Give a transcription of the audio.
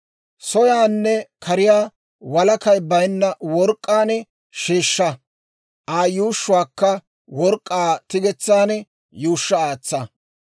Soyaanne kariyaa walakay baynna work'k'aan sheeshsha; Aa yuushshuwaakka work'k'aa tigetsan yuushsha aatsa.